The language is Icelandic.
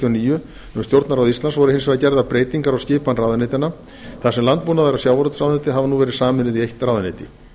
níu um stjórnarráð íslands voru hins vegar gerðar breytingar á skipan ráðuneytanna þar sem landbúnaðar og sjávarútvegsráðuneyti hafa nú verið sameinuð í eitt ráðuneyti